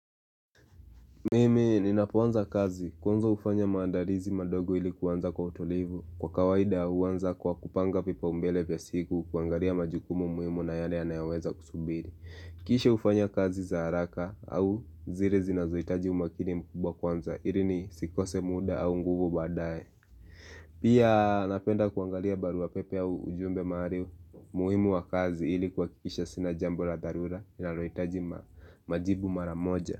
Mimi ninapoanza kazi kwanza hufanya maandalizi madogo ili kuanza kwa utulivu. Kwa kawaida huanza kwa kupanga vipaumbele vya siku, kuangalia majukumu muhimu na yale yanayoweza kusubiri. Kisha hufanya kazi za haraka au zile zinazohitaji umakini mkubwa kwanza ili nisikose muda au nguvu baadaye. Pia napenda kuangalia baruapepe au ujumbe mahali muhimu wa kazi ili kuhakikisha sina jambo la dharura linalohitaji majibu mara moja.